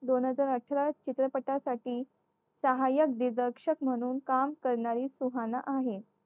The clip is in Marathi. दोन हजार अठरा चित्रपटासाठी साहायक दिग्दर्शक म्हणून काम करणारी सुहाना आहे.